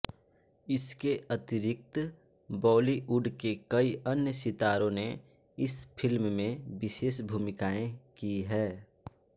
इसके अतिरिक्त बॉलीवुड के कई अन्य सितारों ने इस फिल्म में विशेष भूमिकायें की हैं